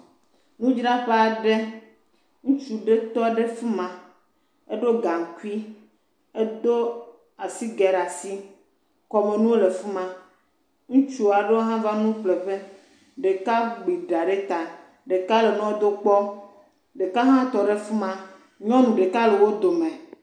Nudzraƒe aɖe ŋutsu aɖewo tɔ ɖe afima eɖo gankui edo asigɛ ɖe asi kɔmenuwo le afima ŋutsu aɖewo ha va nu ƒle ƒe ɖeka gbi ɖa ɖe ta ɖeka le nua dom kpɔ ɖeka ha tɔ ɖe afima nyɔnu ɖeka ha le wodome